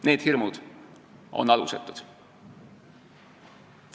Need hirmud on alusetud.